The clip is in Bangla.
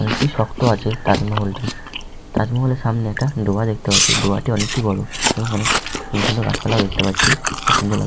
অনেকটি শক্ত আছে তাজমহল -টি তাজমহলের সামনে একটা ডোবা দেখতে পাচ্ছি ডোবাটি অনেকটি বড় এবং অনেক সুন্দর সুন্দর গাছপালাও দেখতে পাচ্ছি খুব সুন্দর ]